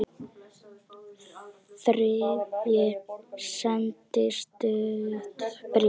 Þriðji sendi stutt bréf